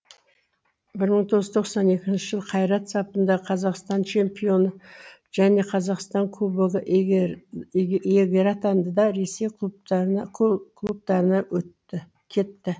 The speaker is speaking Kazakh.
бір мың тоғыз жүз тоқсан екінші жылы қайрат сапында қазақстан чемпионы және қазақстан кубогы иегері атанды да ресей клубтарына кетті